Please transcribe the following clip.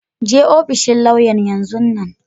Je ofishin lauya'n yanzun nan!